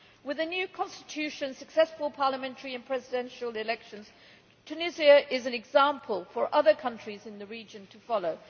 With a new constitution and successful parliamentary and presidential elections, Tunisia is an example for other countries in the region to follow.